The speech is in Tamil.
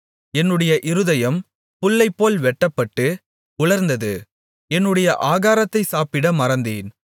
என்னுடைய இருதயம் புல்லைப்போல் வெட்டப்பட்டு உலர்ந்தது என்னுடைய ஆகாரத்தைச் சாப்பிட மறந்தேன்